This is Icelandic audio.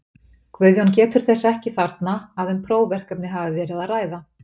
Guðjón getur þess ekki þarna, að um prófverkefni hafi verið að ræða.